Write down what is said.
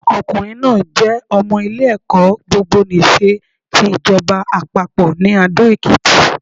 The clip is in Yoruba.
Ọkùnrin náà jé ọmọ ilé ẹ̀kọ́ gbogbo nìse ti ìjọba àpapọ̀ ní Adó Èkìtì